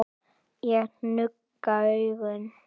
Ég nugga augun.